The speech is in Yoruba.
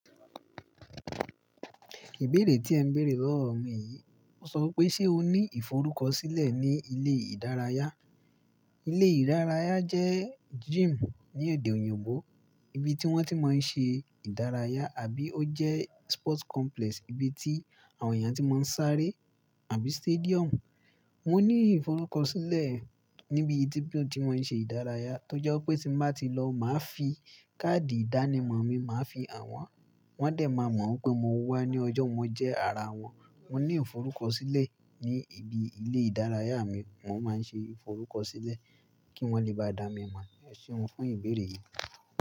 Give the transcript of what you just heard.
Ìbéèrè tí ẹ ń béèrè lọ́wọ́ mi yìí, ó sọ wí pé ṣé o ní ìforúkọsílẹ̀ ní ilé ìdárayá? Ilé ìdárayá jẹ́ gym ní èdè òyìnbó. Ibi tí wọ́n ti máa ń ṣe ìdárayá àbí ó jẹ́ sports complex ibi tí àwọn èèyàn tí máa ń sáré àbí stadium. Mo ní ìforúkọsílẹ̀ níbi ibi tí mo ti máa ń ṣe ìdárayá, tó jẹ́ pé tí mo bá ti lọ, màá fi káàdì ìdánimọ̀ mi, màá fi hàn wọ́n. Wọ́n dẹ̀ máa mọ̀ pé mo wá ní ọjọ́ yẹn, jẹ́ ara wọn. Mo ní ìforúkọsílẹ̀ ní ibi ilé ìdárayá mi. Mo máa ń ṣe ìforúkọsílẹ̀ kí wọ́n lè bá dá mi mọ̀. Ẹ Ṣéun fún ìbéèrè yìí.